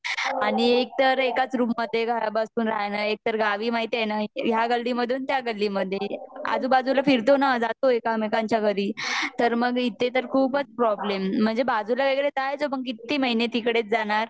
आणि एका तर एकाच रूम मधे बसून रहने एकतर गावी महितिए ना ह्या गल्ली मधून त्या गल्ली मधे आजूबाजू ल फिरतों न जातो एकमेकांच्या घरी तर मग इथे तर खूपच प्रोब्लेम म्हणजे बाजूला वैगेरे जयचो पण किती महीने तिकड़ेच जाणार?